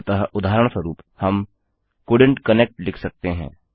अतः उदाहरणस्वरूप हम कोल्डेंट कनेक्ट लिख सकते हैं